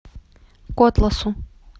котласу